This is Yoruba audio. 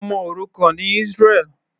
Ọmọ òrukàn ni Israel.